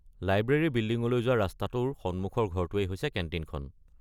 Library বিল্ডিঙলৈ যোৱা ৰাস্তাটোৰ সন্মুখৰ ঘৰটোৱেই হৈছে কেণ্টিনখন।